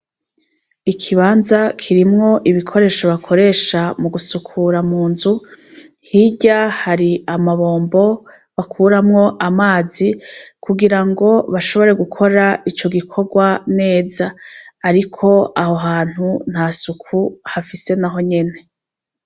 Ikibanza , kirimwo ibikoresho bakoresha mugusukura munzu, hirya hari amabombo bakuramwo amazi kugirango bashobore gukora ico gikorwa neza. Ariko aho hantu ntasuku hafise nahonyene.